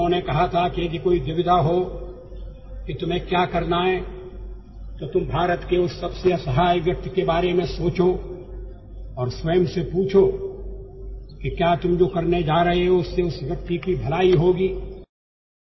ସେ କହିଥିଲେ ଯେ ଆପଣ କଣ କରିବେ ତାକୁ ନେଇ ଯଦି କୌଣସି ଦ୍ୱିଧା ଉତ୍ପନ୍ନ ହୁଏ ତାହେଲେ ଆପଣ ଭାରତର ସେହି ସବୁଠାରୁ ଅସହାୟ ବ୍ୟକ୍ତି ବିଷୟରେ ଚିନ୍ତା କରନ୍ତୁ ଏବଂ ନିଜକୁ ପ୍ରଶ୍ନ କରନ୍ତୁ ଯେ ଆପଣ ଯାହା କରିବାକୁ ଯାଉଛନ୍ତି ତାଦ୍ୱାରା ସେହି ବ୍ୟକ୍ତି ଉପକୃତ ହେବ କି ନାହିଁ